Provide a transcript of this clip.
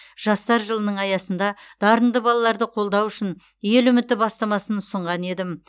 жастар жылының аясында дарынды балаларды қолдау үшін ел үміті бастамасын ұсынған едім